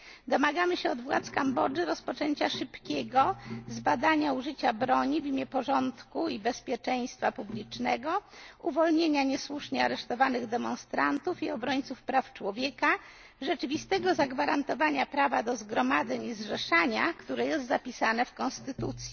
Domagamy się od władz Kambodży szybkiego zbadania przypadków użycia broni w imię porządku i bezpieczeństwa publicznego, uwolnienia niesłusznie aresztowanych demonstrantów i obrońców praw człowieka, rzeczywistego zagwarantowania prawa do zgromadzeń i zrzeszania się, które jest zapisane w konstytucji.